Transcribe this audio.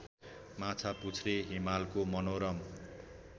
माछापुच्छ्रे हिमालको मनोरम